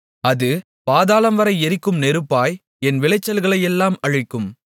அது பாதாளம்வரை எரிக்கும் நெருப்பாய் என் விளைச்சல்களையெல்லாம் அழிக்கும்